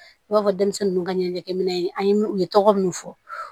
I b'a fɔ denmisɛnnin ninnu ka ɲɛnamaya an ye u ye tɔgɔ minnu fɔ